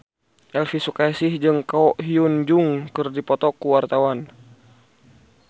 Elvy Sukaesih jeung Ko Hyun Jung keur dipoto ku wartawan